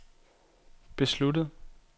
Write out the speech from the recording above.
besluttet